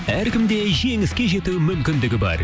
әркімде жеңіске жету мүмкіндігі бар